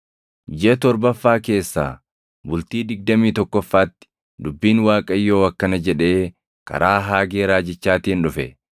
Jiʼa torbaffaa keessaa, bultii digdamii tokkoffaatti dubbiin Waaqayyoo akkana jedhee karaa Haagee raajichaatiin dhufe;